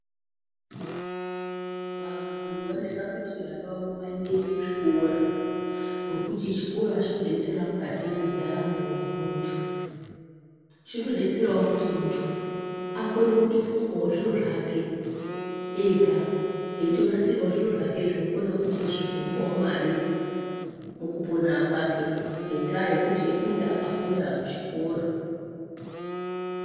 Vantu vanosisa kuti vana vavo vaende kuzvikora ngokuti chikora chinodetsera mukati mwendaramo yemuntu. Chinotodetserawo kuti muntu akone kutofungawo zviro zvake ega, eitonasirawo zviro zvake zvinokona kuti zvizomupawo mare mukupona kwake, ngendaa yekuti unenge akafunda kuchikora.